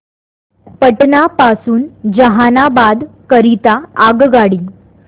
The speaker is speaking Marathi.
पटना पासून जहानाबाद करीता आगगाडी